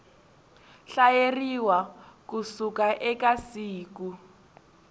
hlayeriwa ku suka eka siku